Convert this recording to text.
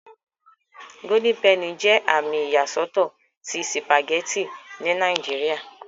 Golden penny jẹ àmì iyasọtọ tí spaghetti ní Nàìjíría.